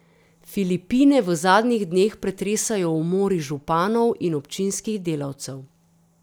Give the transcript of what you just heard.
Filipine v zadnjih dneh pretresajo umori županov in občinskih delavcev.